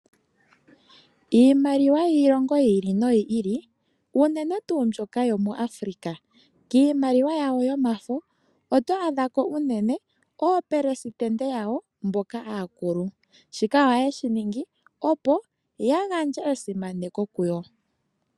Iimaliwa yiilongo yi ili noyi ili unene tuu mbyoka yaAfrika, kiimaliwa yawo yomafo oto adha ko unene opelesitende yawo mboka aakulu. Shika ohaye shi ningi opo yagandje esimaneko ku yo.